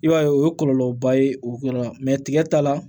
I b'a ye o ye kɔlɔlɔba ye o yɔrɔ la tigɛ ta la